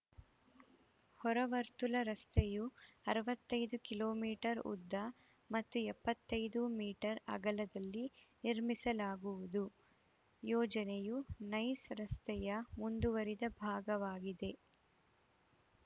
ಹೊರ ವರ್ತುಲ ರಸ್ತೆಯು ಅರವತ್ತೈದು ಕಿಲೋ ಮೀಟರ್ ಉದ್ದ ಮತ್ತು ಎಪ್ಪತ್ತೈದು ಮೀಟರ್ ಅಗಲದಲ್ಲಿ ನಿರ್ಮಿಸಲಾಗುವುದು ಯೋಜನೆಯು ನೈಸ್‌ ರಸ್ತೆಯ ಮುಂದುವರಿದ ಭಾಗವಾಗಿದೆ